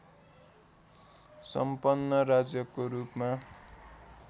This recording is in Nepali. सम्पन्न राज्यको रूपमा